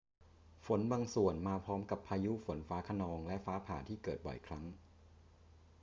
ฝนบางส่วนมาพร้อมกับพายุฝนฟ้าคะนองและฟ้าผ่าที่เกิดบ่อยครั้ง